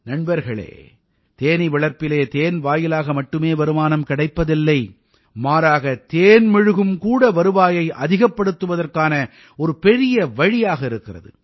நண்பர்களே தேனீ வளர்ப்பிலே தேன் வாயிலாக மட்டுமே வருமானம் கிடைப்பதில்லை மாறாக தேன் மெழுகும் கூட வருவாயை அதிகப்படுத்துவதற்கான ஒரு பெரிய வழியாக இருக்கிறது